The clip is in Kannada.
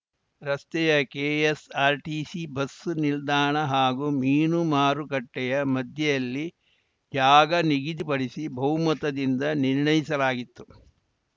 ರಸ್ತೆಯ ಕೆಎಸ್‌ಆರ್‌ಟಿಸಿ ಬಸ್ಸು ನಿಲ್ದಾಣ ಹಾಗೂ ಮೀನು ಮಾರುಕಟ್ಟೆಯ ಮಧ್ಯೆಯಲ್ಲಿ ಜಾಗ ನಿಗದಿಪಡಿಸಿ ಬಹುಮತದಿಂದ ನಿರ್ಣಯಿಸಲಾಗಿತ್ತು